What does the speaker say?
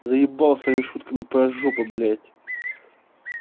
заебал своими шутками про жопу блядь